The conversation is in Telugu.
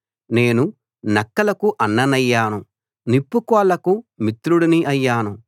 నేను నక్కలకు అన్ననయ్యాను నిప్పుకోళ్లకు మిత్రుడిని అయ్యాను